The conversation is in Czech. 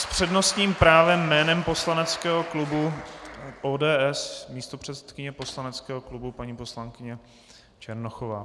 S přednostním právem jménem poslaneckého klubu ODS místopředsedkyně poslaneckého klubu paní poslankyně Černochová.